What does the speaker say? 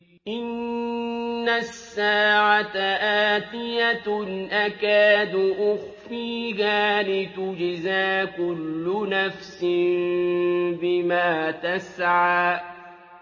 إِنَّ السَّاعَةَ آتِيَةٌ أَكَادُ أُخْفِيهَا لِتُجْزَىٰ كُلُّ نَفْسٍ بِمَا تَسْعَىٰ